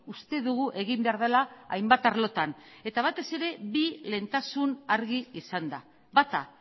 uste dugu egin behar dela hainbat arlotan eta batez ere bi lehentasun argi izanda bata